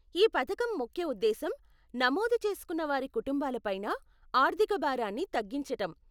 ఈ పథకం ముఖ్య ఉద్దేశ్యం నమోదు చేసుకున్న వారి కుటుంబాల పైన ఆర్ధిక భారాన్ని తగ్గించటం.